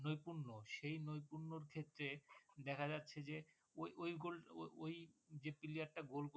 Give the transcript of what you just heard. নৈপুণ্য সেই নৈপুণ্যের ক্ষেত্রে দেখা যাচ্ছে যে ওই ওই ওই ওই ওই যে player টা goal করলো